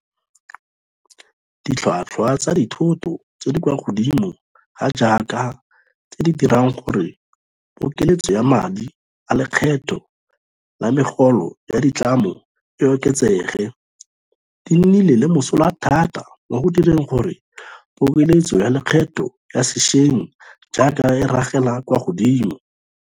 Ditlhotlhwa tsa dithoto tse di kwa godimo ga jaaka, tse di dirang gore pokeletso ya madi a lekgetho la megolo ya ditlamo e oketsege, di nnile le mosola thata mo go direng gore pokeletso ya lekgetho ya sešweng jaana e ragele kwa godimo.